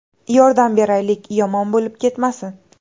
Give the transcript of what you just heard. Yordam beraylik, yomon bo‘lib ketmasin.